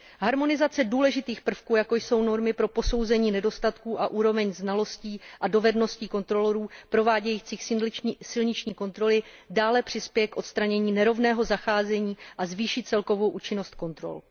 Harmonizace důležitých prvků, jako jsou normy pro posouzení nedostatků a úroveň znalostí a dovedností kontrolorů provádějících silniční kontroly dále přispěje k odstranění nerovného zacházení a zvýší celkovou účinnost kontrol.